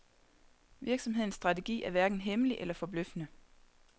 Virsomhedens strategi er hverken hemmelig eller forbløffende.